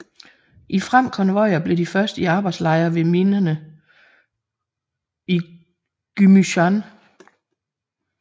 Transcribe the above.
I frem konvojer blev de først i arbejdslejre ved minerne i Gümüşhane